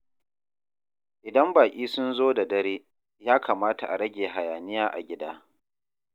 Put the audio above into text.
Idan baƙi sun zo da dare, ya kamata a rage hayaniya a gida.